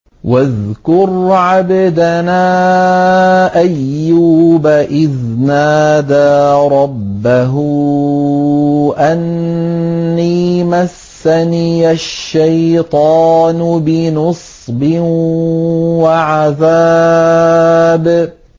وَاذْكُرْ عَبْدَنَا أَيُّوبَ إِذْ نَادَىٰ رَبَّهُ أَنِّي مَسَّنِيَ الشَّيْطَانُ بِنُصْبٍ وَعَذَابٍ